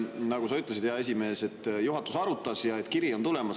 Nagu sa ütlesid, hea esimees, juhatus arutas ja kiri on tulemas.